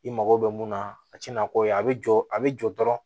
I mago bɛ mun na a ti na k'o ye a bɛ jɔ a bɛ jɔ dɔrɔn